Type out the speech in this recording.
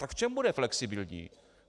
Tak v čem bude flexibilní?